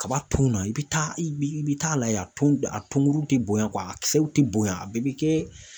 Kaba tun na i bɛ taa i bɛ taa lajɛ a tun a tonkuru tɛ bonya a kisɛw tɛ bonya a bɛ kɛ